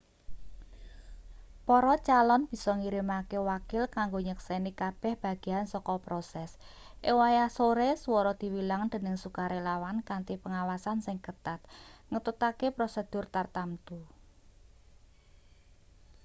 para calon bisa ngirimake wakil kanggo nyekseni kabeh bagean saka proses ing wayah sore swara diwilang dening sukarelawan kanthi pengawasan sing ketat ngetutake prosedur tartamtu